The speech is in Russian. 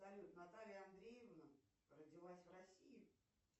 салют наталья андреевна родилась в россии